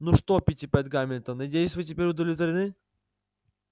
ну что питтипэт гамильтон надеюсь вы теперь удовлетворены